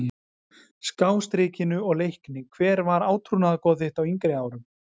Skástrikinu og Leikni Hver var átrúnaðargoð þitt á yngri árum?